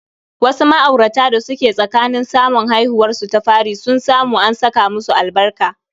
Wasu ma'aurata da suke tsakanin samun haihuwarsu ta fari sun samu an saka musu albarka